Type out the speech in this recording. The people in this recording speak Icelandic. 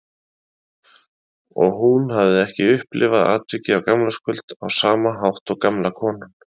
Og hún hafði ekki upplifað atvikið á gamlárskvöld á sama hátt og gamla konan.